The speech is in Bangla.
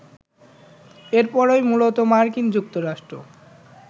এরপরই মূলত মার্কিন যুক্তরাষ্ট্র